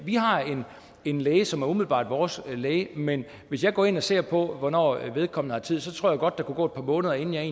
har en læge som umiddelbart er vores læge men hvis jeg går ind og ser på hvornår vedkommende har tid så tror jeg godt der kunne gå et par måneder inden jeg